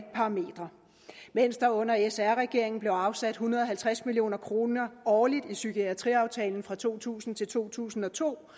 parametre mens der under sr regeringen blev afsat en hundrede og halvtreds million kroner årligt i psykiatriaftalen fra to tusind til to tusind og to